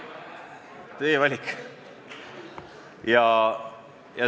Teie valik.